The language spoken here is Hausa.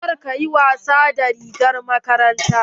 Kar ka yi wasa da rigar makarantar.